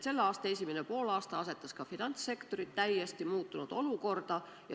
Selle aasta esimene poolaasta asetas ka finantssektori täiesti muutunud olukorda.